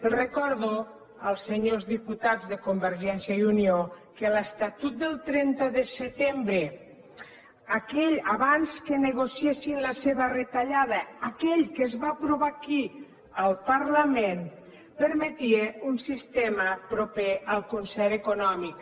els recordo als senyors diputats de convergència i unió que l’estatut del trenta de setembre aquell abans que negociessin la seva retallada aquell que es va aprovar aquí al parlament permetia un sistema proper al concert econòmic